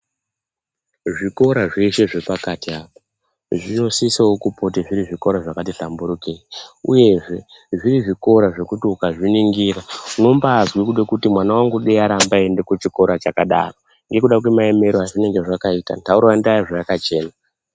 Zvikora zveshe zvepakati apa, zvinosisawo kupote zviri zvikora zvakati svamburukei, uyezve zviri zvikora zvekuti ukazviningira, unombaazwa kuti mwana wangu dei aramba achienda kuchikora chakadaro, nekuda kwemaemere a zvakaita, nharaunda zvayakachena.